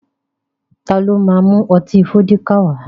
Ta ló ma mú ọtí Fọ́díkà wá?